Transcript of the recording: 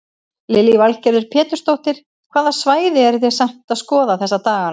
Lillý Valgerður Pétursdóttir: Hvaða svæði eru þið samt að skoða þessa daganna?